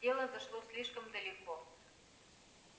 дело зашло слишком далеко